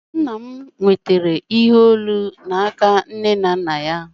Nna m nwetara ihe olu n'aka nne na nna ya